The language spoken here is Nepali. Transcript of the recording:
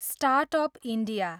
start up India